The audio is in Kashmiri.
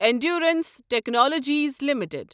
endurance Technologies limited